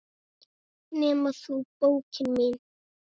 Nema þú, bókin mín.